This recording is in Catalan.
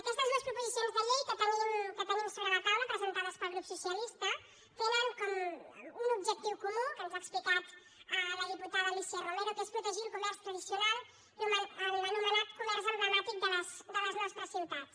aquestes dues proposicions de llei que tenim sobre la taula presentades pel grup socialista tenen un objectiu comú que ens ha explicat la diputada alícia romero que és protegir el comerç tradicional l’anomenat comerç emblemàtic de les nostres ciutats